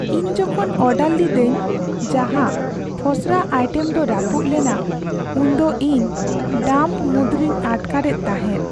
ᱤᱧ ᱡᱚᱠᱷᱚᱱ ᱚᱰᱟᱨ ᱞᱤᱫᱟᱹᱧ ᱡᱟᱦᱟᱸ ᱯᱷᱚᱥᱨᱟ ᱟᱭᱴᱮᱢ ᱫᱚ ᱨᱟᱹᱯᱩᱫ ᱞᱮᱱᱟ ᱩᱱᱫᱚ ᱤᱧ ᱰᱟᱢᱯ ᱢᱩᱫᱽᱨᱮᱧ ᱟᱴᱠᱟᱨᱮᱫ ᱛᱟᱦᱮᱫ ᱾